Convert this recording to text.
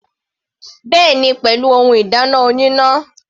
Bẹ́ẹ̀ni, pẹ̀lú ohun ìdáná oníná.